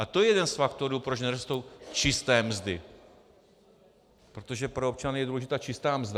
A to je jeden z faktorů, proč nerostou čisté mzdy, protože pro občany je důležitá čistá mzda.